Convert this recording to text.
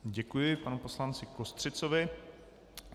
Děkuji panu poslanci Kostřicovi.